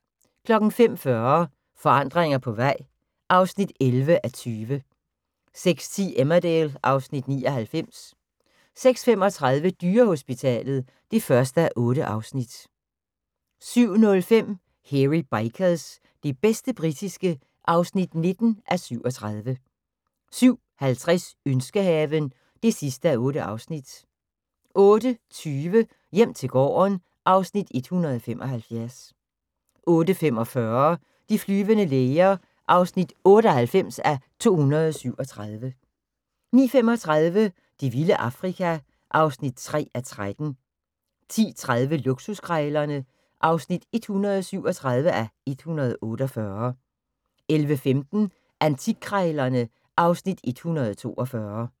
05:40: Forandring på vej (11:20) 06:10: Emmerdale (Afs. 99) 06:35: Dyrehospitalet (1:8) 07:05: Hairy Bikers – det bedste britiske (19:37) 07:50: Ønskehaven (8:8) 08:20: Hjem til gården (Afs. 175) 08:45: De flyvende læger (98:237) 09:35: Det vilde Afrika (3:13) 10:30: Luksuskrejlerne (137:148) 11:15: Antikkrejlerne (Afs. 142)